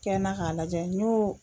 Kɛ n na k'a lajɛ n y'o.